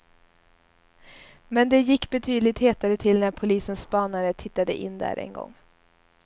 Men det gick betydligt hetare till när polisens spanare tittade in där en gång.